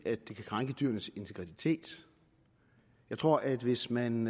det kan krænke dyrenes integritet jeg tror at hvis man